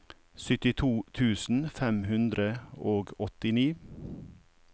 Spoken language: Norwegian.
syttito tusen fem hundre og åttini